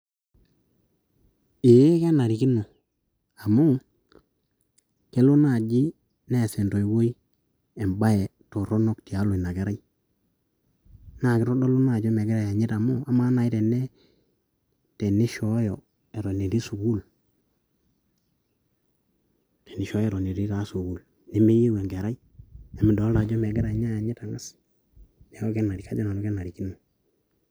Eeeh kenarikino amu kelo naaji neas entoiwuoi embae torrono tialo ina kerai, naa kitodolu ina ajo megira ayanyit amu amaa naaji teni tenishoooyo eton etii sukuul, tenishooyo eton taa etii sukuul . Nemeyieu enkerai, midolita ajo megira ninye ayanyit ang`as, niaku kajo nanu kenarikino.